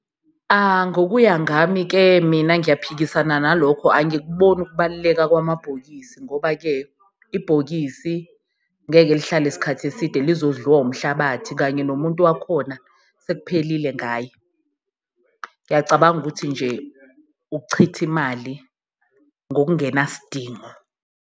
Ngokuya ngami-ke mina ngiyaphikisana nalokho, angikuboni ukubaluleka kwamabhokisi ngoba-ke ibhokisi ngeke lihlale isikhathi eside, lizodliwa umhlabathi kanye nomuntu wakhona sekuphelile ngaye. Ngiyacabanga ukuthi nje ukuchitha imali ngokungenasidingo.